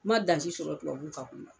N man dan si sɔrɔ tubabuw ka